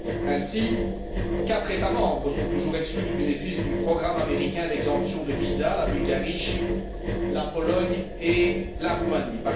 Ainsi, quatre États membres sont toujours exclus du bénéfice du programme américain d'exemption de visa la Bulgarie, Chypre, la Pologne et la Roumanie.